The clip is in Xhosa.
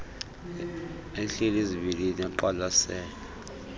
ehleli zibilili eqwalasele